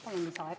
Palun lisaaega!